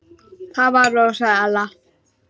Það var og sagði Ella.